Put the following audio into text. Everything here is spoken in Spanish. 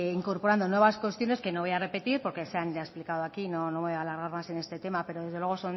incorporando nuevas cuestiones que no voy a repetir porque se han ya explicado aquí no voy a alargar más en este tema pero desde luego